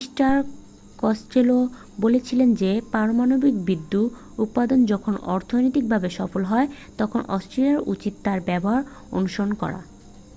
mister Costello বলেছিলেন যে পারমাণবিক বিদ্যুৎ উৎপাদন যখন অর্থনৈতিকভাবে সফল হয় তখন অস্ট্রেলিয়ার উচিত তার ব্যবহার অনুসরণ করা